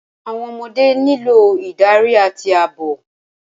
Àwọn ọmọdé nílò ìdarí àti ààbò.